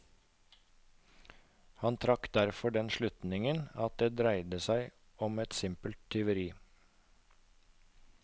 Han trakk derfor den slutningen at det dreide seg om simpelt tyveri.